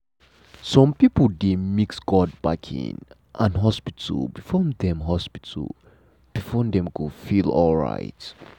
some people dey mix god backing and hospital before dem hospital before dem go feel alright.